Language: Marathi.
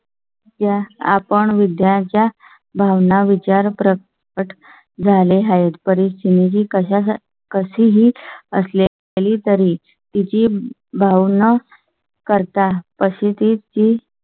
त्या account विद्यार्थ्या भावना विचार प्रकट झाले आहेत. परीक्षणे जी कशा कशीही असले तरी तरी तिची भाव न करता पसंती ची.